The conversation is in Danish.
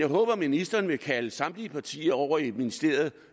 ministeren vil kalde samtlige partier over i ministeriet